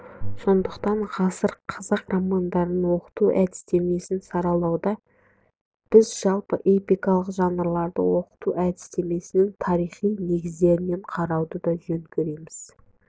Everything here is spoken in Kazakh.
сондықтан ғасыр қазақ романдарын оқыту әдістемесін саралауда біз жалпы эпикалық жанрларды оқыту әдістемесінің тарихи негіздерінен қарауды жөн көреміз